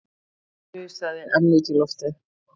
Hún hnusaði enn út í loftið